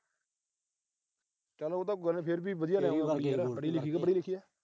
ਚਲ ਉਹ ਤਾਂ ਕੋਈ ਗੱਲ ਨੀ ਫਿਰ ਵੀ ਪੜ੍ਹੀ ਲਿਖੀ ਆ।